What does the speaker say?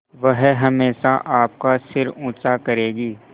वह हमेशा आपका सिर ऊँचा करेगी